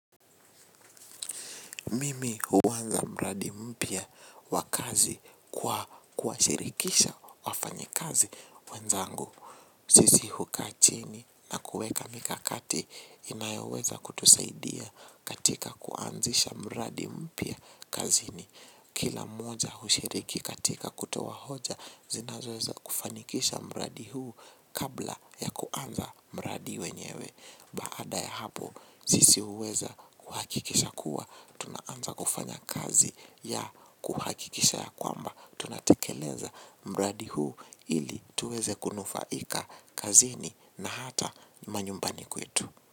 Mimi huanza mradi mpya wakazi kwa kuwashirikisha wafanyikazi wenzangu. Sisi hukachini na kuweka mikakati inayoweza kutusaidia katika kuanzisha mradi mpya kazini. Kila mmoja hushiriki katika kutoa hoja zinazo weza kufanikisha mradi huu kabla ya kuanza mradi wenyewe. Baada ya hapo sisi huweza kuhakikisha kuwa tunaanza kufanya kazi ya kuhakikisha ya kwamba tunatekeleza mradi huu ili tuweze kunufaika kazini na hata manyumbani kwetu.